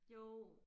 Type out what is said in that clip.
Jo